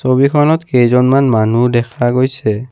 ছবিখনত কেইজনমান মানুহ দেখা গৈছে।